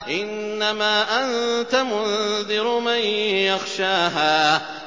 إِنَّمَا أَنتَ مُنذِرُ مَن يَخْشَاهَا